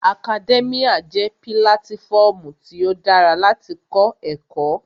Akadẹ́míà jẹ́ pílátífọmu tí ó dára láti kọ́ ẹ̀kọ́